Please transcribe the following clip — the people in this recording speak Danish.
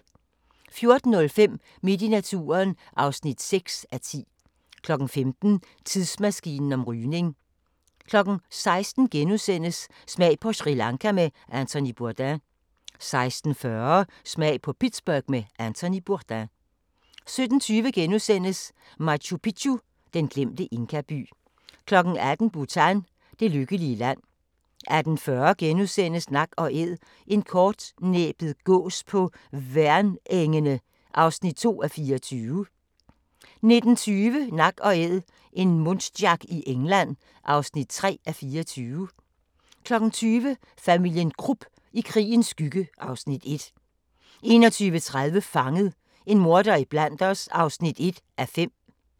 14:05: Midt i naturen (6:10) 15:00: Tidsmaskinen om rygning 16:00: Smag på Sri Lanka med Anthony Bourdain * 16:40: Smag på Pittsburgh med Anthony Bourdain 17:20: Machu Picchu: Den glemte inkaby * 18:00: Bhutan: Det lykkelige land 18:40: Nak & Æd – en kortnæbbet gås på Værnengene (2:24)* 19:20: Nak & æd - en muntjac i England (3:24) 20:00: Familien Krupp – i krigens skygge (Afs. 1) 21:30: Fanget – en morder iblandt os (1:5)